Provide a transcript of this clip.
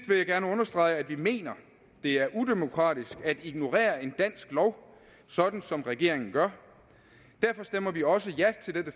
vil jeg gerne understrege at vi mener det er udemokratisk at ignorere en dansk lov sådan som regeringen gør derfor stemmer vi også ja til dette